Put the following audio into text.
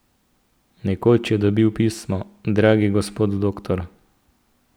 Nekoč je dobil pismo: 'Dragi gospod doktor.